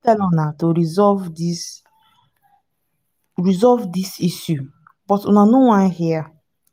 i don tell una to resolve dis resolve dis issue but una no wan hear